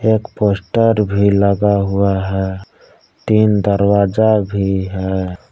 एक पोस्टर भी लगा हुआ है तीन दरवाजा भी है।